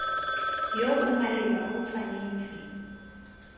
yo o maleba o tshwanetse